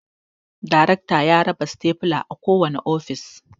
Darekta ya raba stafula a kowane ofis